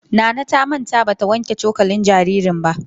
Nana ta manta ba ta wanke cokalin jaririn ba.